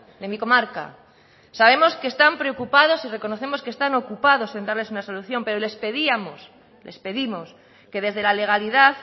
de mi comarca sabemos que están preocupados y reconocemos que están ocupados en darles una solución pero les pedíamos les pedimos que desde la legalidad